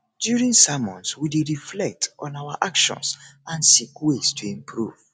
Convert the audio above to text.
during sermons we dey reflect on our actions and seek ways to improve